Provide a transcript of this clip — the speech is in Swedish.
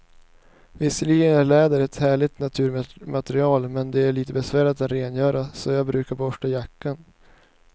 Visserligen är läder ett härligt naturmaterial, men det är lite besvärligt att rengöra, så jag brukar borsta jackan.